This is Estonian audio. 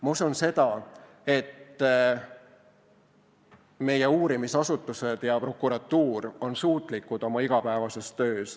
Ma usun seda, et meie uurimisasutused ja prokuratuur on suutlikud oma igapäevases töös.